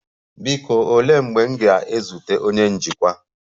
Biko, olee mgbe m ga-ezute onye njikwa?